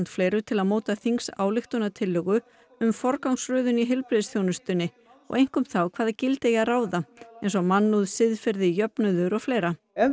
fleiru til að móta þingsályktunartillögu um forgangsröðun í heilbrigðisþjónustunni og einkum þá hvaða gildi eigi að ráða eins og mannúð siðferði jöfnuður og fleira ef